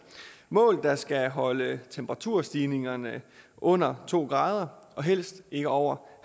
mål der skal holde temperaturstigningerne under to grader og helst ikke over